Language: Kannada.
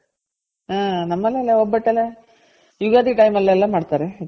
ನಮ್ಮಲ್ಲೆಲ್ಲ ಒಬ್ಬಟ್ಟು ಎಲ್ಲ ಯುಗಾದಿ time ಅಲ್ಲೆಲ್ಲ ಮಾಡ್ತಾರೆ .